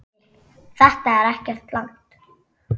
Þetta er ekkert langt.